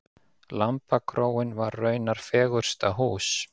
Lambakróin var raunar fegursta hús.